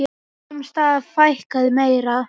Sums staðar fækkaði meira.